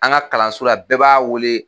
An ka kalanso la bɛɛ b'a wele